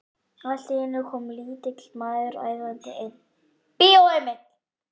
Allt í einu kom lítill maður æðandi inn: Bíó Emil.